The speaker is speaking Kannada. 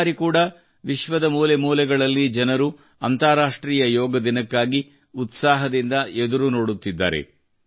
ಈ ಬಾರಿ ಕೂಡಾ ವಿಶ್ವದ ಮೂಲೆ ಮೂಲೆಗಳಲ್ಲಿ ಜನರು ಅಂತಾರಾಷ್ಟ್ರೀಯ ಯೋಗ ದಿನಕ್ಕಾಗಿ ಉತ್ಸಾಹದಿಂದ ಎದುರು ನೋಡುತ್ತಿದ್ದಾರೆ